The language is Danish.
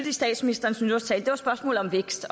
i statsministerens nytårstale var spørgsmålet om vækst